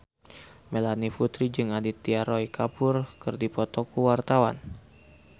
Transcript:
Melanie Putri jeung Aditya Roy Kapoor keur dipoto ku wartawan